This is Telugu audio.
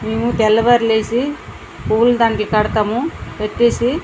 మేము తెల్లవారున లేసి పువ్వుల దండలు కడతాము కట్టేసి --